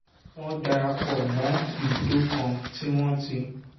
wọ́n darapọ̀ mọ́ ibùdó kan tí wọ́n ti